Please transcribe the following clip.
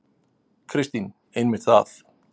Kristín: Einmitt það.